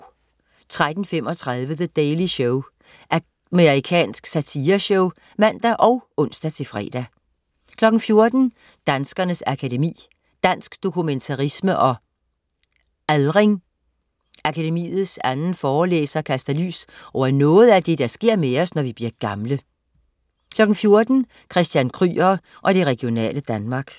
13.35 The Daily Show. Amerikansk satireshow (man og ons-fre) 14.00 Danskernes Akademi. Dansk dokumentarisme og Aldring. Akademiets anden forelæser kaster lys over noget af det, der sker med os, når vi bliver gamle 14.00 Christian Kryger og det regionale Danmark